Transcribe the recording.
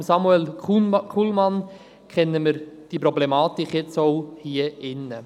Dank Samuel Kullmann kennen wir die Problematik nun auch hier drin.